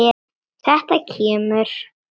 Þetta kemur.